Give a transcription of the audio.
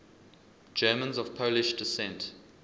germans of polish descent